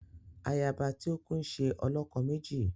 Ayaba ti ọ kù nṣe olokomeji